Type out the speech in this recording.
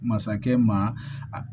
Masakɛ ma